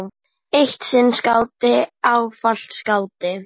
Eitt sinn skáti, ávallt skáti.